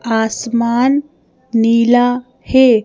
आसमान नीला है।